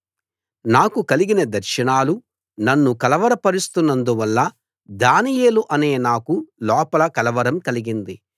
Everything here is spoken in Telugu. నాకు కలిగిన దర్శనాలు నన్ను కలవర పరుస్తున్నందువల్ల దానియేలు అనే నాకు లోపల కలవరం కలిగింది